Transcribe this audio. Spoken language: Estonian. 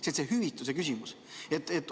See on see hüvitise küsimus.